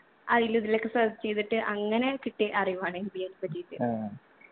അയിലും ഇതിലൊക്കെ search എയ്തിട്ട് അങ്ങനെ കിട്ടിയ അറിവാണ് MBA നെപ്പറ്റിട്ട്